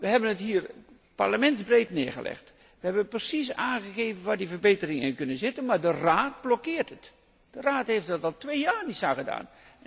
We hebben het hier Parlementsbreed neergelegd, we hebben precies aangegeven waar die verbeteringen in kunnen zitten, maar de Raad blokkeert dit. De Raad heeft er al twee jaar niets aan gedaan.